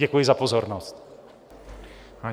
Děkuji za pozornost.